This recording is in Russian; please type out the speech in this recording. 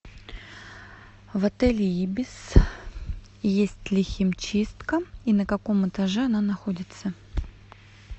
в отеле ибис есть ли химчистка и на каком этаже она находится